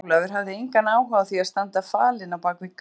Jón Ólafur hafði engan áhuga á því að standa falinn á bak við gám.